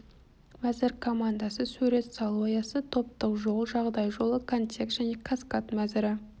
мәзір командасы сурет салу аясы топтық жол жағдай жолы контекст және каскад мәзірі